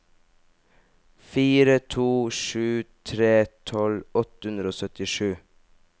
fire to sju tre tolv åtte hundre og syttisju